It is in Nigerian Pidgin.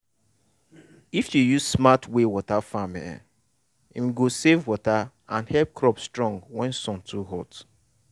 if you use smart way water farm e um go save water and help crop strong when sun too hot.